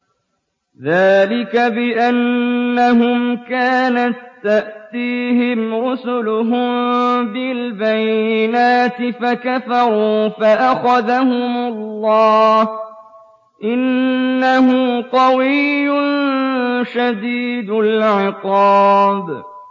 ذَٰلِكَ بِأَنَّهُمْ كَانَت تَّأْتِيهِمْ رُسُلُهُم بِالْبَيِّنَاتِ فَكَفَرُوا فَأَخَذَهُمُ اللَّهُ ۚ إِنَّهُ قَوِيٌّ شَدِيدُ الْعِقَابِ